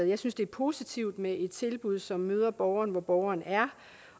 jeg synes det er positivt med et tilbud som møder borgeren hvor borgeren er